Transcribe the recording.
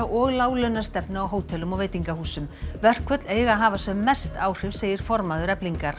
og láglaunastefnu á hótelum og veitingahúsum verkföll eiga að hafa sem mest áhrif segir formaður Eflingar